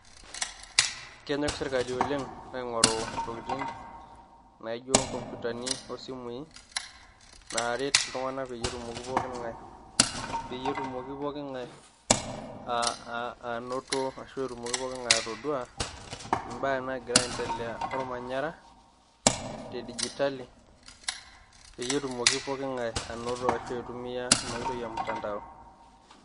Kenyok sirkali oleng aing`oru ntokitin naijo nkomputani o simui naaret iltung`anak pee etumoki poki ng`ae peyie etumoki poki ng`ae aa anoto. Ashu etumoki poki ng`ae atodua imbaa naagira aendelea olmanyara te digitali pee etumoki poki ng`ae anoto ashu aitumia ina oitoi e mtandao.